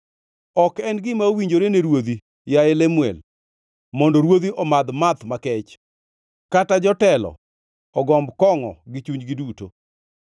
Ok en gima owinjore ne ruodhi, yaye Lemuel, mondo ruodhi omadh math makech, kata jotelo ogomb kongʼo gi chunygi duto,